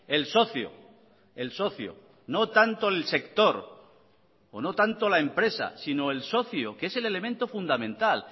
el socio el socio no tanto el sector o no tanto la empresa sino el socio que es el elemento fundamental